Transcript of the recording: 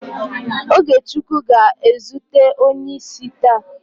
OgeChukwu ga-ezute onye isi taa